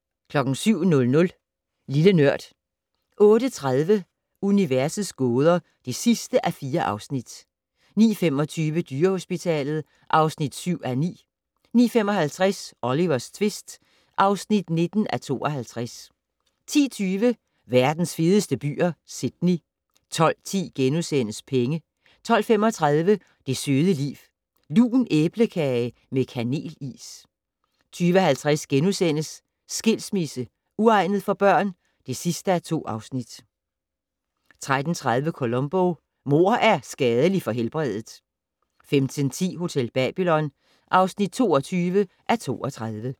07:00: Lille Nørd 08:30: Universets gåder (4:4) 09:25: Dyrehospitalet (7:9) 09:55: Olivers tvist (19:52) 10:20: Verdens fedeste byer - Sydney 12:10: Penge * 12:35: Det søde liv - Lun æblekage med kanel-is 12:50: Skilsmisse - uegnet for børn? (2:2)* 13:30: Columbo: Mord er skadeligt for helbredet 15:10: Hotel Babylon (22:32)